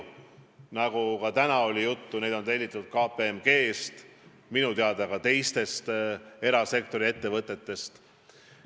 Ja nagu tänagi juttu oli, neid on tellitud ka KPMG-st ning minu teada teisteltki erasektori ettevõtetelt.